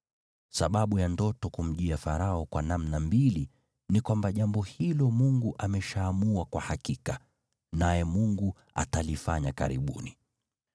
Sababu ya ndoto kumjia Farao kwa namna mbili ni kwamba jambo hilo Mungu ameshaamua kwa hakika, naye Mungu atalifanya karibuni.